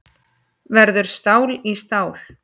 Verður stál í stál